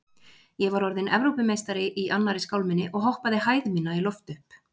Ég var orðinn Evrópumeistari í annarri skálminni og hoppaði hæð mína í loft upp.